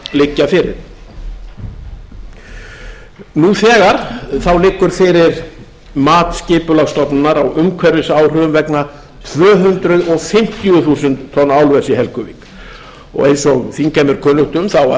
liggja fyrir nú þegar liggur fyrir mat skipulagsstofnunar á umhverfisáhrifum vegna tvö hundruð fimmtíu þúsund tonna álvers í helguvík eins og þingheimi er kunnugt um var